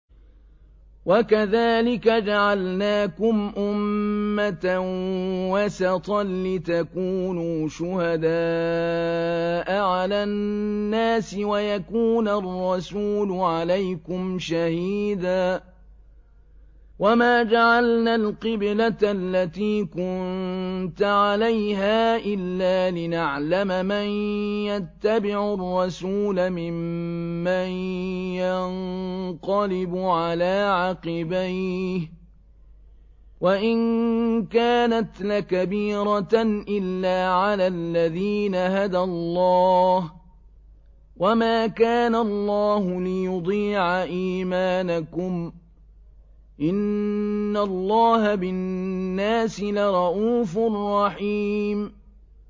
وَكَذَٰلِكَ جَعَلْنَاكُمْ أُمَّةً وَسَطًا لِّتَكُونُوا شُهَدَاءَ عَلَى النَّاسِ وَيَكُونَ الرَّسُولُ عَلَيْكُمْ شَهِيدًا ۗ وَمَا جَعَلْنَا الْقِبْلَةَ الَّتِي كُنتَ عَلَيْهَا إِلَّا لِنَعْلَمَ مَن يَتَّبِعُ الرَّسُولَ مِمَّن يَنقَلِبُ عَلَىٰ عَقِبَيْهِ ۚ وَإِن كَانَتْ لَكَبِيرَةً إِلَّا عَلَى الَّذِينَ هَدَى اللَّهُ ۗ وَمَا كَانَ اللَّهُ لِيُضِيعَ إِيمَانَكُمْ ۚ إِنَّ اللَّهَ بِالنَّاسِ لَرَءُوفٌ رَّحِيمٌ